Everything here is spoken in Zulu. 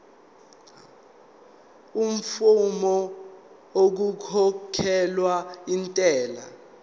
amafomu okukhokhela intela